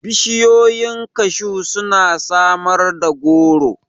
Bishiyoyin kashu suna samar da goro.